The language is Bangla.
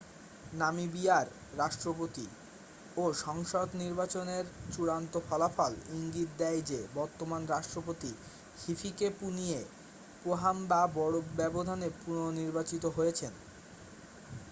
নামিবিয়ার রাষ্ট্রপতি ও সংসদ নির্বাচনের চূড়ান্ত ফলাফল ইঙ্গিত দেয় যে বর্তমান রাষ্ট্রপতি হিফিকেপুনিয়ে পোহাম্বা বড় ব্যবধানে পুনঃনির্বাচিত হয়েছেন